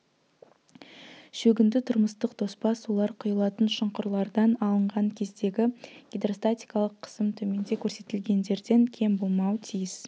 шөгінді тұрмыстық тоспа сулар құйылатын шұңқырлардан алынған кездегі гидростатикалық қысым төменде көрсетілгендерден кем болмауы тиіс